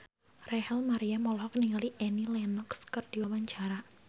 Rachel Maryam olohok ningali Annie Lenox keur diwawancara